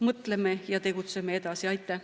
Mõtleme ja tegutseme edasi!